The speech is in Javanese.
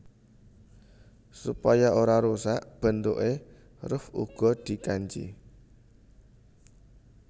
Supaya ora rusak bentukké ruff uga dikanji